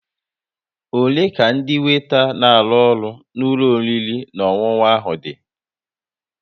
Ole ka ndị weeta n'aru ọrụ n'ulo oriri na ọṅụṅụ ahụ dị?